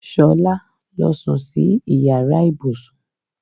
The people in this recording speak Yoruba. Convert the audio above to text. Ṣolá lọ sùn sí ìyára ibùsùn.